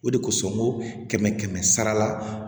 O de kosɔn n ko kɛmɛ kɛmɛ sara la